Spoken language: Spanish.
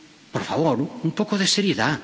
Por favor, un poco de seriedad.